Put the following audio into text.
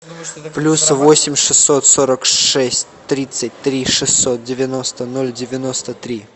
плюс восемь шестьсот сорок шесть тридцать три шестьсот девяносто ноль девяносто три